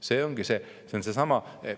See ongi seesama.